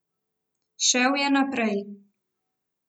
Šel je naprej.